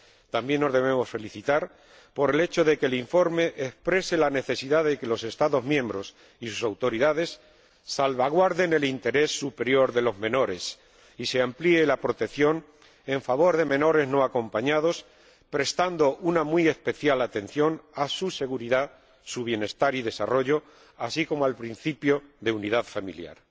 También nos debemos felicitar por el hecho de que el informe exprese la necesidad de que los Estados miembros y sus autoridades salvaguarden el interés superior de los menores y se amplíe la protección en favor de menores no acompañados, prestando una muy especial atención a su seguridad, su bienestar y su desarrollo, así como al principio de unidad familiar.